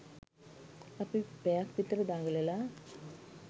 අපි පැයක් විතර දඟලලා